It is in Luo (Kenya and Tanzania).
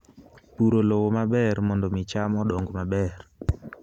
Puro lowo maber mondo mi cham odong maber